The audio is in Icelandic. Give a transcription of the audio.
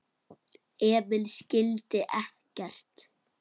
Emil skildi ekkert.